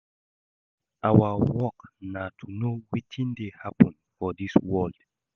Our work na to know wetin dey happen for dis world